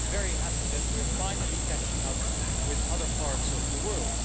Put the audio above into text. So I'm very happy that we are finally catching up with other parts of the world.